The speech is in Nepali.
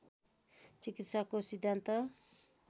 चिकित्साको सिद्धान्त